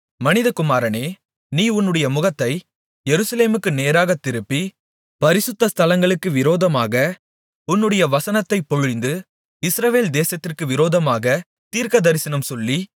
மனிதகுமாரனே நீ உன்னுடைய முகத்தை எருசலேமுக்கு நேராகத் திருப்பி பரிசுத்த ஸ்தலங்களுக்கு விரோதமாக உன்னுடைய வசனத்தைப் பொழிந்து இஸ்ரவேல் தேசத்திற்கு விரோதமாகத் தீர்க்கதரிசனம் சொல்லி